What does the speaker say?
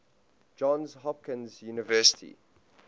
johns hopkins university